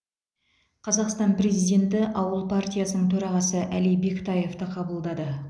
қазақстан президенті ауыл партиясының төрағасы әли бектаевты қабылдады